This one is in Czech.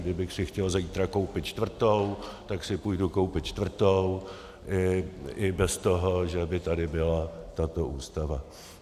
Kdybych si chtěl zítra koupit čtvrtou, tak si půjdu koupit čtvrtou i bez toho, že by tady byla tato Ústava.